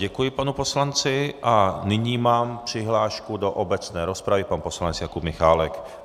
Děkuji panu poslanci a nyní mám přihlášku do obecné rozpravy, pan poslanec Jakub Michálek.